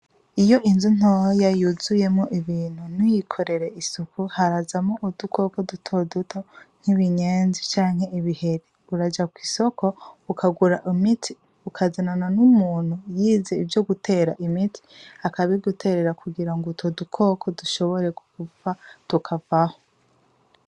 Iyo inzu ntoya yuzuye mwo ibintu ntuyikorere isuku, harazamwo udukoko dutoduto nk'ibinyenzi canke ibihere. Uraja kw'isoko ukagura imiti ukazanana n'umuntu yize ivyo gutera imiti akabiguterera kugira ngo utwo dukoko dushobore gupfa tukavaho.